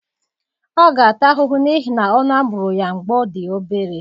Ọ ga-ata ahụhụ n'ihi na ọnụ a bụrụ ya mgbe ọ dị obere.